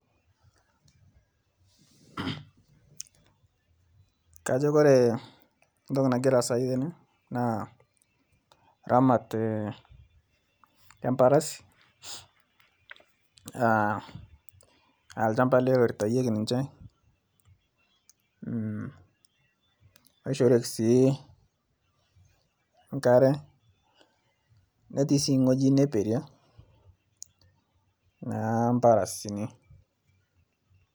Kajo ore entoki nagira asaa tene naa eramatare embarasi aa olchamba ele oritayieki ninche aishirie enkare netii sii ewueji nipiri naa mbarasini